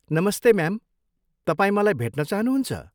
नमस्ते म्याम, तपाईँ मलाई भेट्न चाहनुहुन्छ?